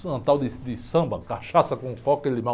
uma tal de, de samba, cachaça com coca e limão.